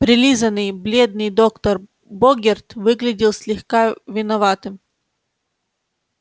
прилизанный бледный доктор богерт выглядел слегка виноватым